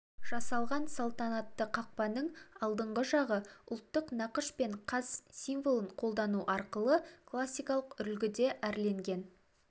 жасалған салтанатты қақпаның алдыңғы жағы ұлттық нақыш пен қаз символын қолдану арқылы классикалық үлгіде әрленген